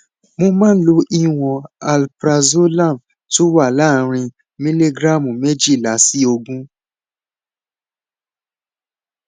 mo máa ń lo ìwọn alprazolam tó wà láàárín miligíráàmù méjìlá sí ogún